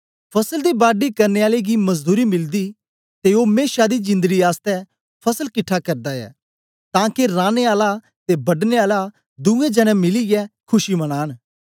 फसल दी बाडी करने आले गी मजदूरी मीलीदी ते ओ मेशा दी जिंदड़ी आसतै फसल किट्ठा करदा ऐ तां के राने आला ते बढने आला दुए जनें मिलीयै खुशी मनांन